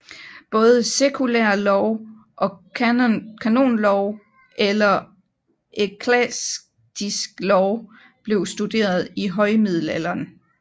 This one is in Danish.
Både sekulær lov og kanonlov eller eklastisk lov blev studeret i højmiddelalderen